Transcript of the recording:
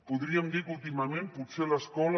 podríem dir que últimament potser l’escola